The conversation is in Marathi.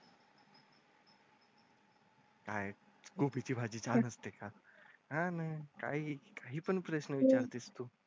हाय गोबी ची भाजी छान असते का हा ना काही काही पण प्रश्न विचारतेस तू.